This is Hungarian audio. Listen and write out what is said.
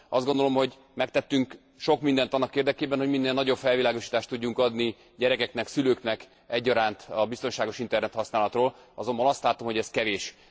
Azt gondolom, hogy megtettünk sok mindent annak érdekében, hogy minél nagyobb felvilágosítást tudjunk adni gyerekeknek, szülőknek egyaránt a biztonságos internethasználatról, azonban azt látom, hogy ez kevés.